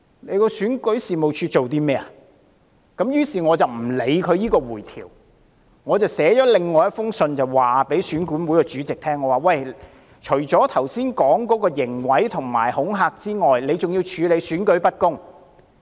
於是，我不理會選管會提供的回條，我寫了另一封信給選管會主席，我說除了之前提及的刑毀及恐嚇之外，選管會還要處理選舉不公。